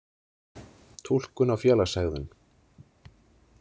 Túlkun á félagshegðun.